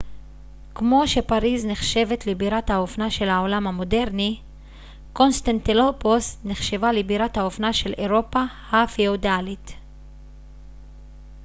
כמו שפריז נחשבת לבירת האופנה של העולם המודרני קונסטנטילופוס נחשבה לבירת האופנה של אירופה הפיאודלית